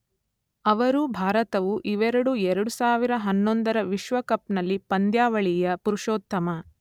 ಅವರು ಭಾರತವು ಇವೆರಡೂ ಎರಡು ಸಾವಿರದ ಹನ್ನೊಂದರ ವಿಶ್ವಕಪ್‌ನಲ್ಲಿ ಪಂದ್ಯಾವಳಿಯ ಪುರುಷೋತ್ತಮ